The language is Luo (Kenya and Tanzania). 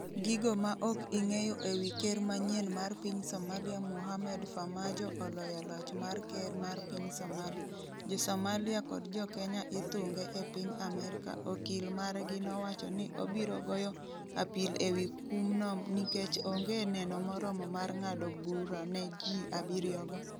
Gigo ma ok ing'eyo ewi ker manyien mar piny Somalia Mohamed Farmajo oloyo loch mar ker mar piny Somalia Jo Somalia kod jo Kenya ithunge e piny Amerika Okil margi nowacho ni obiro goyo apil ewi kumno nikech onge neno moromo mar ng'ado bura ne ji abiryo go.